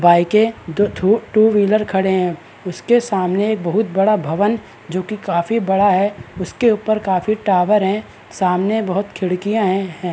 बाइके दो ठू टू व्हीलर खड़े है उसके सामने बहुत बड़ा भवन जोकी काफी बड़ा हैउसके ऊपर काफी टावर है सामने बहुत खिडकियाँ हैं ।